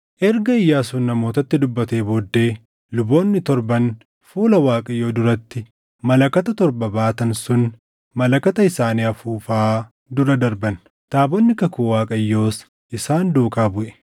Erga Iyyaasuun namootatti dubbatee booddee, luboonni torban fuula Waaqayyoo duratti malakata torba baatan sun malakata isaanii afuufaa dura darban; taabonni kakuu Waaqayyoos isaan duukaa buʼe.